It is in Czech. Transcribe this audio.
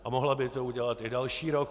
A mohla by to udělat i další rok.